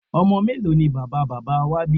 Ọmọ mélòó ni bàbá bàbá wá bí?